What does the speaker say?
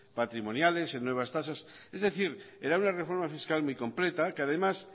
patrimoniales en nuevas tasas es decir era una reforma fiscal muy completa que además